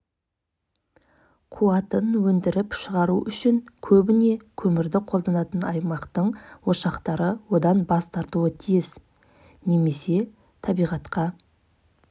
бизнес саласында мүмкіншіліктер көп мемлекет тарапынан көмек беріліп жатыр прокуратура әкімшілік тарапынан да жас кәсіпкерлерге қолдау